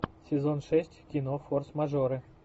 сезон шесть кино форс мажоры